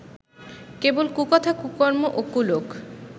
কেবল কুকথা কুকর্ম ও কুলোক